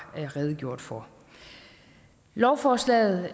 redegjort for lovforslaget